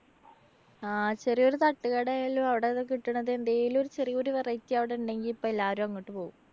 ആ ചെറിയൊരു തട്ടുകട ആയാലും അവടെ കിട്ടണത് എന്തേലും ഒരു ചെറിയൊരു variety അവിടെ ഉണ്ടെങ്കി ഇപ്പോ എല്ലാവരും അങ്ങോട്ട് പോവും.